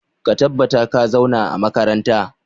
Ka tabbata ka zauna a makaranta!